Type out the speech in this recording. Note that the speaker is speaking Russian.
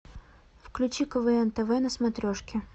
включи квн тв на смотрежке